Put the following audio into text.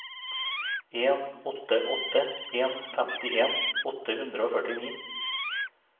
en åtte åtte en femtien åtte hundre og førtini